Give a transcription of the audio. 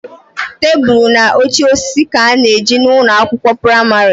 Tebụl na oche osisi ka a na ejina ụlọ akwụkwọ pramarị